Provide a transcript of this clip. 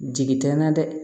Jigi tɛ n na dɛ